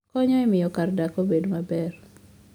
konyo e miyo kar dak obed maber